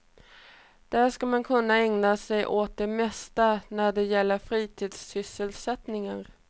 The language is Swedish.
Där ska man kunna ägna sig åt det mesta när det gäller fritidssysselsättningar.